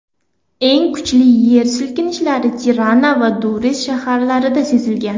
Eng kuchli yer silkinishlari Tirana va Durres shaharlarida sezilgan.